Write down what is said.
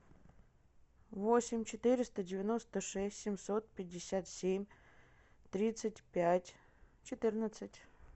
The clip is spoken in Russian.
восемь четыреста девяносто шесть семьсот пятьдесят семь тридцать пять четырнадцать